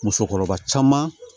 Musokɔrɔba caman